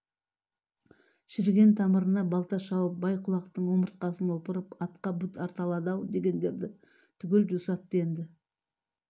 шіріген тамырына балта шауып бай-құлақтың омыртқасын опырып атқа бұт арта алады-ау дегендерді түгел жусатты енді